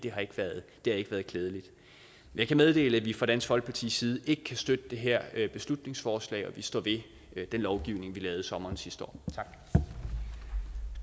det har ikke været klædeligt jeg kan meddele at vi fra dansk folkepartis side ikke kan støtte det her beslutningsforslag og vi står ved den lovgivning vi lavede i sommeren sidste år